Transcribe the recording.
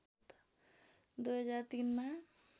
२००३ मा